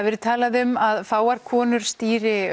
verið talað um að fáar konur stýri